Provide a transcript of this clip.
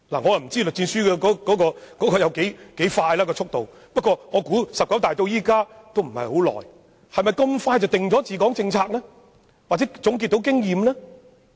我不知道栗戰書的效率有多高，但"十九大"距今並非相隔太久，是否這麼快便能制訂治港政策或總結經驗呢？